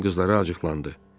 Ram qızlara acıqlandı.